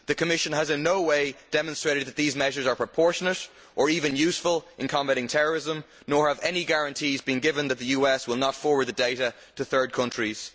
The Commission has in no way demonstrated that these measures are proportionate or even useful in combating terrorism, nor have any guarantees been given that the US will not forward the data to third countries.